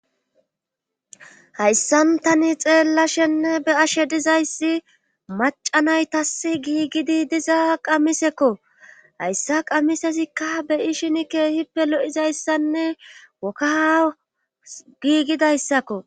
Hayssantani xeella shenne be ashe dizayssi macanaytas giigidi dizaa qamisekko hayssa qamisesikka beyi shini keehippe loizayssanne woka giigidayssakko.